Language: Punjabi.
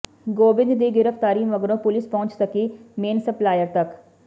ਗੋਬਿੰਦ ਦੀ ਗ੍ਰਿਫਤਾਰੀ ਮਗਰੋਂ ਪੁਲਸ ਪਹੁੰਚ ਸਕੀ ਮੇਨ ਸਪਲਾਈਰ ਤੱਕ